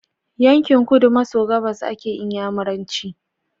Yankin kudu maso gabas ake inyamiranci